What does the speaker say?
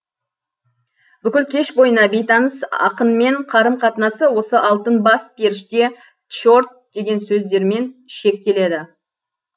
бүкіл кеш бойына бейтаныс ақынмен қарым қатынасы осы алтын бас періште тчорт деген сөздермен шектеледі